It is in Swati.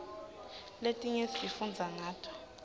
letinye sifundza ngato